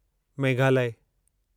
Meghalaya